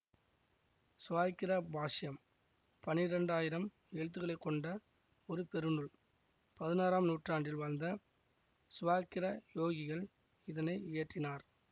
சிவாக்கிர பாஷ்யம் பன்னிரெண்டயிரம் எழுத்துக்களைக் கொண்ட ஒரு பெருநூல் பதினாறாம் நூற்றாண்டில் வாழ்ந்த சிவாக்கிர யோகிகள் இதனை இயற்றினார்